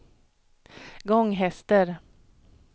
Gånghester